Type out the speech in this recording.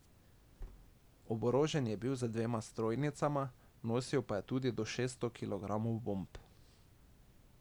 Oborožen je bil z dvema strojnicama, nosil pa je tudi do šeststo kilogramov bomb.